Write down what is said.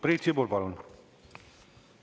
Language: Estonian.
Priit Sibul, palun!